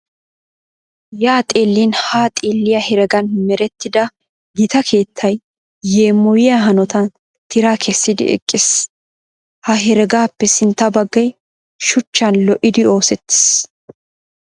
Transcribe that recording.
Yaa xeellin haa xeelliya heregan merettida gita keettay yeemoyiya hanotan tiraa kessidi eqqiis. Ha heregaappe sintta baggay shuchchan lo"idi oosettiis.